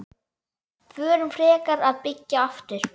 Förum frekar að byggja aftur.